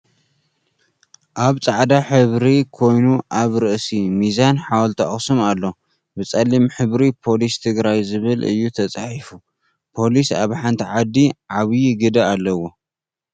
ኣብ ፃዕዳ ሕብሪ ኮይኑኣብ ርእሲ ሚዛን ሓወልቲ ኣክሱም ኣሎ። ብፀሊም ሕብሪ ፖሊስ ትግራይ ዝብል እዩ ተፃሒፉ ፖሊስ ኣብ ሓንቲ ዓዲ ዓብዩ ግደ ኣለዎ።